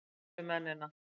Sættast við mennina.